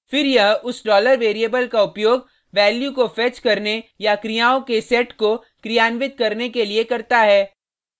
फिर यह उस $variable का उपयोग वैल्यू को फेच करने या क्रियाओं के सेट को क्रियान्वित करने के लिए करता है